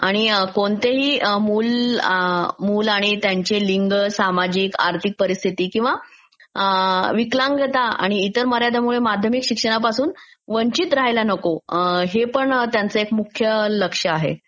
कोणतेही मुल, मुल आणि त्याचे लिंग, सामाजिक, आर्थिक परीस्थिती किंवा विकलांगता आणि इतर not clear माध्यमिक शिक्षणापासून वंचित राहायला नको हे पण त्यांचं मुख्य लक्ष आहे.